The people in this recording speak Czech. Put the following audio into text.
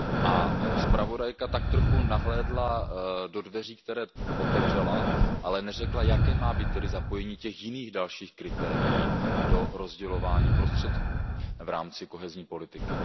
A zpravodajka tak trochu nahlédla do dveří, které otevřela, ale neřekla, jaké má být tedy zapojení těch jiných dalších kritérií do rozdělování prostředků v rámci kohezní politiky.